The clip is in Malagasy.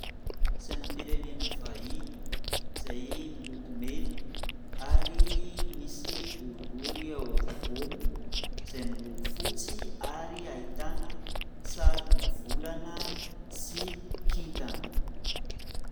Sainam-pirenena vahiny izay miloko mena ary misy boribory ao apovoany izay miloko fotsy ary ahitana sarina volana sy kintana.